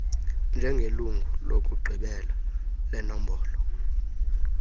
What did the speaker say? njengelungu lokugqibela lenombolo